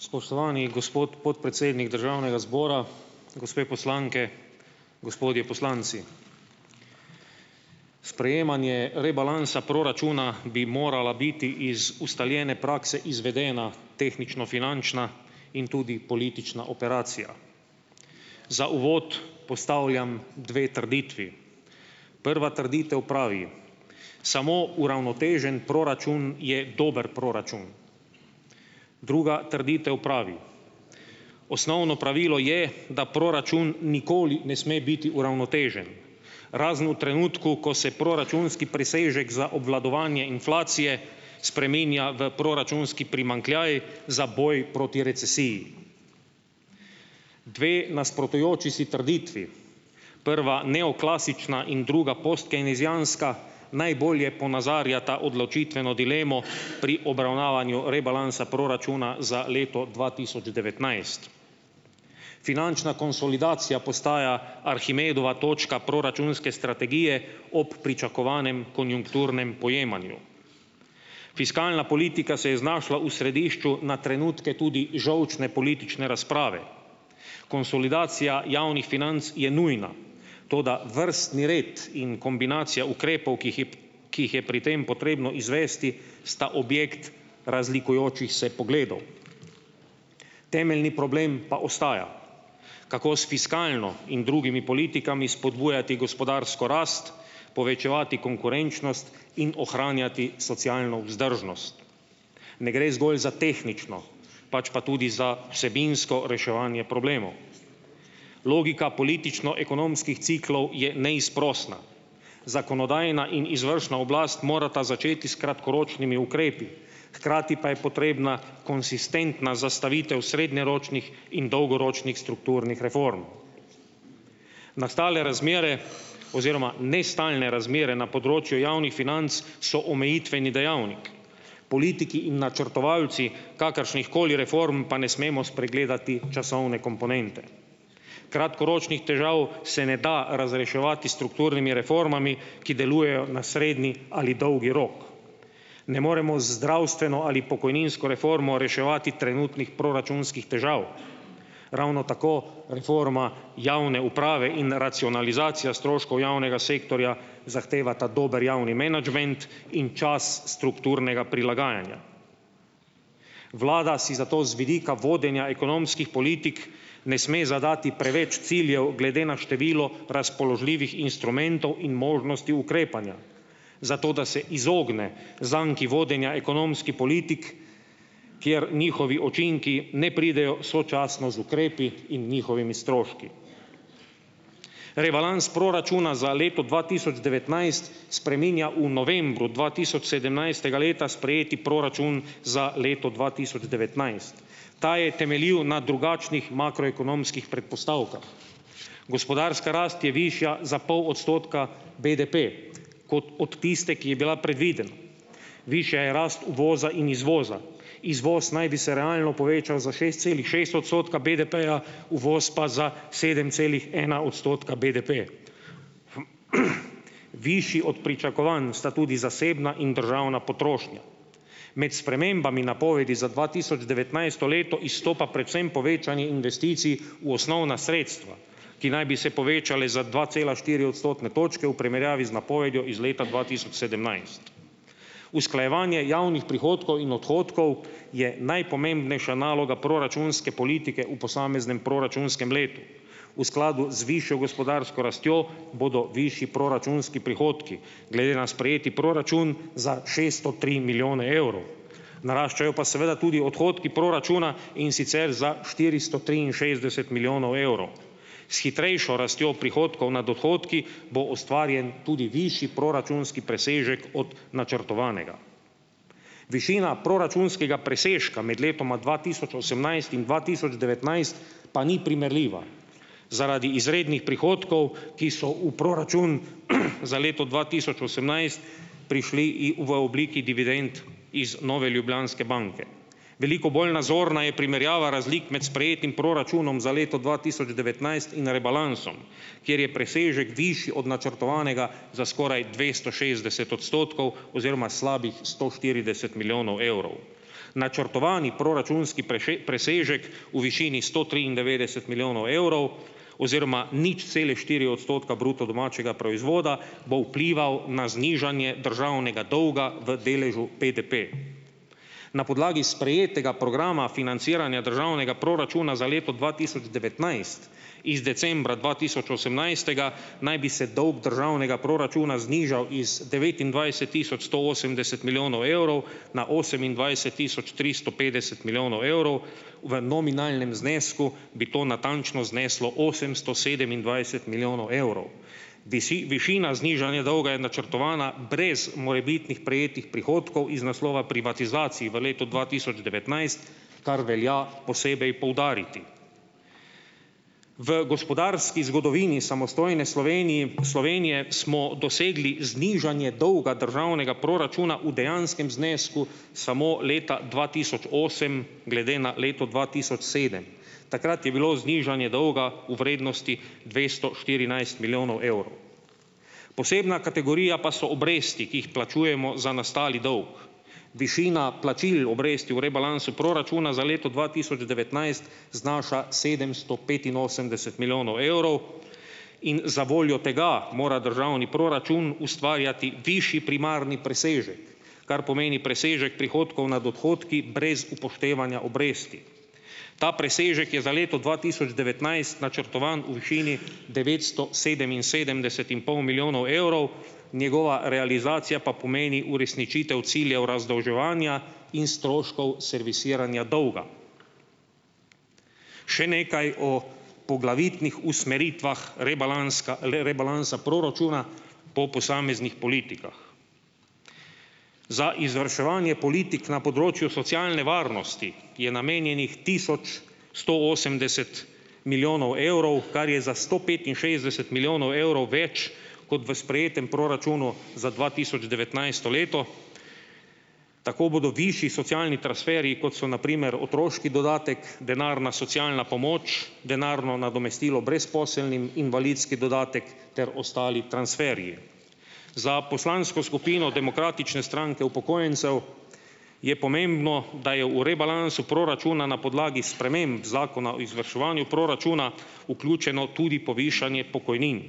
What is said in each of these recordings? Spoštovani gospod podpredsednik državnega zbora, gospe poslanke, gospodje poslanci, sprejemanje rebalansa proračuna bi morala biti iz ustaljene prakse izvedena tehnično finančna in tudi politična operacija. Za uvod postavljam dve trditvi, prva trditev pravi: samo uravnotežen proračun je dober proračun, druga trditev pravi: osnovno pravilo je, da proračun nikoli ne sme biti uravnotežen, razen v trenutku, ko se proračunski presežek za obvladovanje inflacije spreminja v proračunski primanjkljaj za boj proti recesiji, dve nasprotujoči si trditvi, prva neoklasična in druga postkeynesijanska, najbolje ponazarjata odločitveno dilemo pri obravnavanju rebalansa proračuna za leto dva tisoč devetnajst, finančna konsolidacija postaja Arhimedova točka proračunske strategije ob pričakovanem konjunkturnem pojemanju, fiskalna politika se je znašla v središču na trenutke tudi žolčne politične razprave, konsolidacija javnih financ je nujna, toda vrstni red in kombinacija ukrepov, ki jih je ki jih je pri tem potrebno izvesti, sta objekt razlikujočih se pogledov, temeljni problem pa ostaja, kako s fiskalno in drugimi politikami spodbujati gospodarsko rast, povečevati konkurenčnost in ohranjati socialno vzdržnost, ne gre zgolj za tehnično, pač pa tudi za vsebinsko reševanje problemov, logika politično ekonomskih ciklov je neizprosna, zakonodajna in izvršna oblast morata začeti s kratkoročnimi ukrepi, hkrati pa je potrebna konsistentna zastavitev srednjeročnih in dolgoročnih strukturnih reform, nastale razmere oziroma nestalne na področju javnih financ so omejitveni dejavnik, politiki in načrtovalci kakršnih koli reform pa ne smemo spregledati časovne komponente, kratkoročnih težav se ne da razreševati s strukturnimi reformami, ki delujejo na srednji ali dolgi rok, ne moremo z zdravstveno ali pokojninsko reformo reševati trenutnih proračunskih težav, ravno tako reforma javne uprave in racionalizacija stroškov javnega sektorja zahtevata dober javni menedžment in čas strukturnega prilagajanja, vlada si zato z vidika vodenja ekonomskih politik ne sme zadati preveč ciljev glede na število razpoložljivih instrumentov in možnosti ukrepanja, zato da se izogne zakon vodenja ekonomski politik, kjer njihovi učinki ne pridejo sočasno z ukrepi in njihovimi stroški, rebalans proračuna za leto dva tisoč devetnajst spreminja v novembru dva tisoč sedemnajstega leta sprejeti proračun za leto dva tisoč devetnajst, ta je temeljil na drugačnih makroekonomskih predpostavkah, gospodarska rast je višja za pol odstotka, BDP kot od tiste, ki je bila predvidena, višja je rast uvoza in izvoza, izvoz naj bi se realno povečal za šest celih šest odstotka BDP-ja, uvoz pa za sedem celih ena odstotka BDP, višji od pričakovanj sta tudi zasebna in državna potrošnja, med spremembami napovedi za dva tisoč devetnajsto leto izstopa predvsem povečanje investicij v osnovna sredstva, ki naj bi se povečale za dva cela štiri odstotne točke v primerjavi z napovedjo iz leta dva tisoč sedemnajst, usklajevanje javnih prihodkov in odhodkov je najpomembnejša naloga proračunske politike v posameznem proračunskem letu, v skladu z višjo gospodarsko rastjo bodo višji proračunski odhodki glede na sprejeti proračun za šeststo tri milijone evrov, naraščajo pa seveda tudi odhodki proračuna, in sicer za štiristo triinšestdeset milijonov evrov, s hitrejšo rastjo prihodkov nad dohodki bo ustvarjen tudi višji proračunski presežek od načrtovanega, višina proračunskega presežka med letoma dva tisoč osemnajst in dva tisoč devetnajst pa ni primerljiva zaradi izrednih prihodkov, ki so v proračun, za leto dva tisoč osemnajst prišli v obliki dividend iz Nove Ljubljanske banke, veliko bolj nazorna je primerjava razlik med sprejetim proračunom za leto dva tisoč devetnajst in rebalansom, kjer je presežek višji od načrtovanega za skoraj dvesto šestdeset odstotkov oziroma slabih sto štirideset milijonov evrov, načrtovani proračunski presežek v višini sto triindevetdeset milijonov evrov oziroma nič celih štiri odstotka bruto domačega proizvoda bo vplival na znižanje državnega dolga v deležu BDP na podlagi sprejetega programa financiranja državnega proračuna za leto dva tisoč devetnajst iz decembra dva tisoč osemnajstega naj bi se dolg državnega proračuna znižal iz devetindvajset tisoč sto osemdeset milijonov evrov na osemindvajset tisoč tristo petdeset milijonov evrov, v nominalnem znesku bi to natančno zneslo osemsto sedemindvajset milijonov evrov, višina znižanja dolga je načrtovana brez morebitnih prejetih prihodkov iz naslova privatizacij v letu dva tisoč devetnajst, kar velja posebej poudariti, v gospodarski zgodovini samostojne Sloveniji, Slovenije smo dosegli znižanje dolga državnega proračuna v dejanskem znesku samo leta dva tisoč osem glede na leto dva tisoč sedem, takrat je bilo znižanje dolga v vrednosti dvesto štirinajst milijonov evrov, posebna kategorija pa so obresti, ki jih plačujemo za nastali dolg, diši na plačilo obresti v rebalansu proračuna za leto dva tisoč devetnajst znaša sedemsto petinosemdeset milijonov evrov in zavoljo tega mora državni proračun ustvarjati višji primarni presežek, kar pomeni presežek prihodkov nad odhodki brez upoštevanja obresti, ta presežek je za leto dva tisoč devetnajst načrtovan v višini devetsto sedeminsedemdeset in pol milijonov evrov, njegova realizacija pa pomeni uresničitev ciljev razdolževanja in stroškov servisiranja dolga, še nekaj o poglavitnih usmeritvah rebalansa proračuna po posameznih politikah, za izvrševanje politik na področju socialne varnosti je namenjenih tisoč sto osemdeset milijonov evrov, kar je za sto petinšestdeset milijonov evrov več kot v sprejetem proračunu za dva tisoč devetnajsto leto, tako bodo višji socialni transferi, kot so na primer otroški dodatek, denarna socialna pomoč, denarno nadomestilo brezposelnim, invalidski dodatek ter ostali transferji, za poslansko skupino Demokratične stranke upokojencev je pomembno, da je v rebalansu proračuna na podlagi sprememb zakona o izvrševanju proračuna vključeno tudi povišanje pokojnin,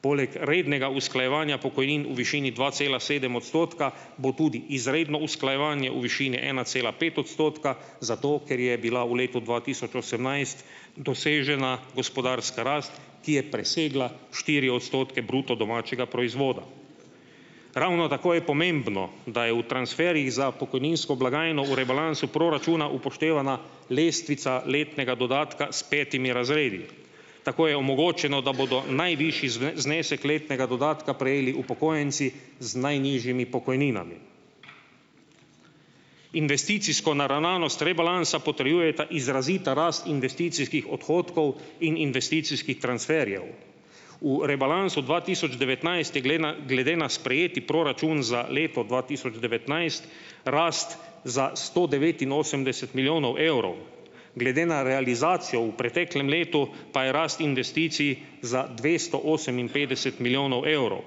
poleg rednega usklajevanja pokojnin in višini dva cela sedem odstotka bo tudi izredno usklajevanje v višini ena cela pet odstotka zato, ker je bila v letu dva tisoč osemnajst dosežena gospodarska rast, ki je presegla štiri odstotke bruto domačega proizvoda, ravno tako je pomembno, da je v transferjih za pokojninsko blagajno v rebalansu proračuna upoštevana lestvica letnega dodatka s petimi razredi, tako je omogočeno, da bodo najvišji znesek letnega dodatka prejeli upokojenci z najnižjimi pokojninami, investicijsko naravnanost rebalansa potrjujeta izrazita rast investicijskih odhodkov in investicijskih transferjev, v rebalansu dva tisoč devetnajst je glede na sprejeti proračun za leto dva tisoč devetnajst rast za sto devetinosemdeset milijonov evrov, glede na realizacijo v preteklem letu pa je rast investicij za dvesto oseminpetdeset milijonov evrov,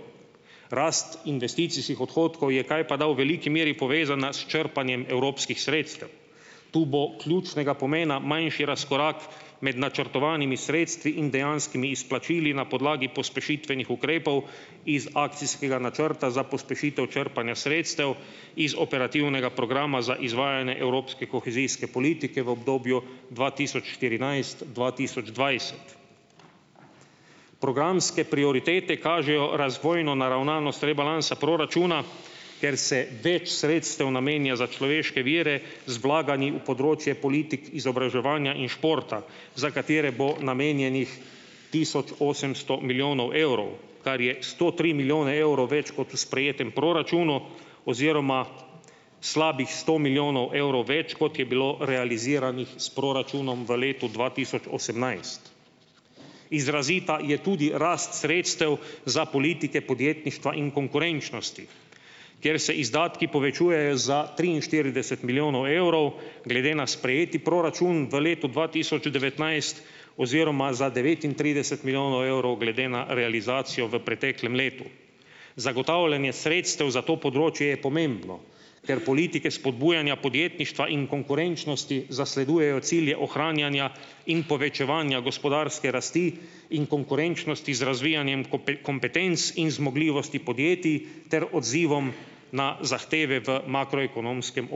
rast investicijskih odhodkov je kajpada v veliki meri povezana s črpanjem evropskih sredstev, tu bo ključnega pomena manjši razkorak med načrtovanimi sredstvi in dejanskimi izplačili na podlagi pospešitvenih ukrepov iz akcijskega načrta za pospešitev črpanja sredstev, iz operativnega programa za izvajanje evropske kohezijske politike v obdobju dva tisoč štirinajst- dva tisoč dvajset, programske prioritete kažejo razvojno naravnanost rebalansa proračuna, ker se več sredstev namenja za človeške vire z vlaganji v področje politik, izobraževanja in športa, za katere bo namenjenih tisoč osemsto milijonov evrov, kar je sto tri milijone evrov več kot v sprejetem proračunu, oziroma slabih sto milijonov evrov več, kot je bilo realiziranih s proračunom v letu dva tisoč osemnajst, izrazita je tudi rast sredstev za politike podjetništva in konkurenčnosti, ker se izdatki povečujejo za triinštirideset milijonov evrov glede na sprejeti proračun v letu dva tisoč devetnajst oziroma za devetintrideset milijonov evrov glede na realizacijo v preteklem letu, zagotavljanje sredstev za to področje je pomembno, ker politike spodbujanja podjetništva in konkurenčnosti zasledujejo cilje ohranjanja in povečevanja gospodarske rasti in konkurenčnosti z razvijanjem kompetenc in zmogljivosti podjetij ter odzivom na makroekonomskem okolju